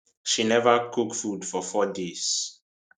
she neva cook food for four days